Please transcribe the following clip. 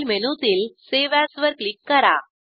file मेनूतील save as वर click करा